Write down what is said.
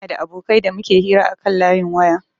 Ina da abokai da muke hira akan layin waya